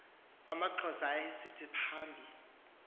amaxhosa ayesithi phambi